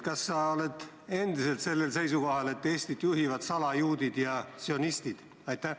Kas sa oled endiselt sellel seisukohal, et Eestit juhivad salajuudid ja sionistid?